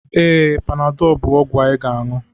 Ee, Panadọ bụ ọgwụ ị ga-aṅụ